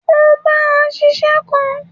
O bá a ṣiṣẹ́ kan.